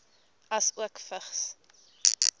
asook vigs